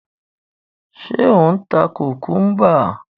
Ṣé ò ń ta kùkúḿbà?